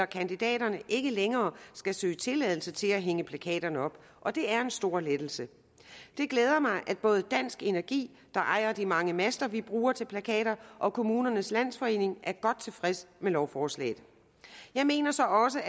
kandidater ikke længere skal søge tilladelse til at hænge plakaterne op og det er en stor lettelse det glæder mig at både dansk energi der ejer de mange master vi bruger til plakater og kommunernes landsforening er godt tilfredse med lovforslaget jeg mener så også